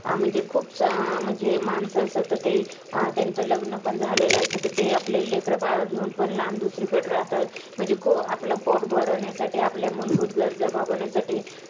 म्हणजे खूप म्हणजे माणसं असतात तर ते अं त्यांचं लग्न पण झालेलं असतं तर ते आपले लेकरं-बाळं घेऊन पण लांब दुसरीकडं राहतात. म्हणजे आपलं पोट भरण्यासाठी आपल्या मूलभूत गरजा भागवण्यासाठी